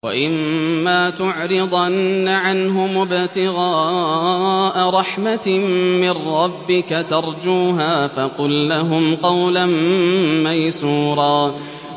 وَإِمَّا تُعْرِضَنَّ عَنْهُمُ ابْتِغَاءَ رَحْمَةٍ مِّن رَّبِّكَ تَرْجُوهَا فَقُل لَّهُمْ قَوْلًا مَّيْسُورًا